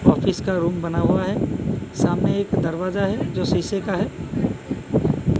Office का room बना हुआ है सामने एक दरवाजा है जो शीशे का है।